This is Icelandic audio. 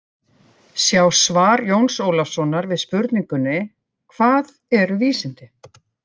Sjá svar Jóns Ólafssonar við spurningunni: Hvað eru vísindi?